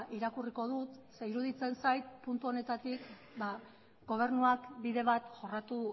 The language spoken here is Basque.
irakurriko dut zeren eta iruditzen zait puntu honetatik gobernuak bide bat jorratu